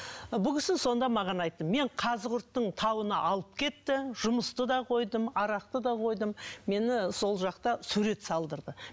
бұл кісі сонда маған айтты мен қазығұрттың тауына алып кетті жұмысты да койдым арақты да қойдым мені сол жақта сурет салдырды